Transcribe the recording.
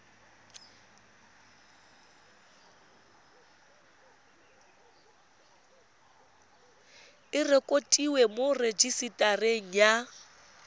e rekotiwe mo rejisetareng ya